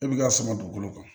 E bi ka sama dugukolo kan